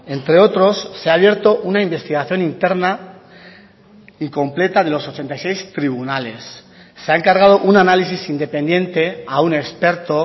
entre otros se ha abierto una investigación interna y completa de los ochenta y seis tribunales se ha encargado un análisis independiente a un experto